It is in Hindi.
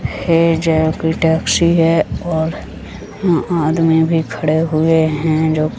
ये जे कोई टैक्सी है और अ आदमी भी खड़े हुए है जो --